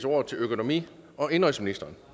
ordet til økonomi og indenrigsministeren